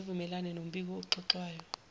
zivumelane nombiko oxoxwayo